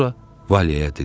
Sonra Valeyə dedi.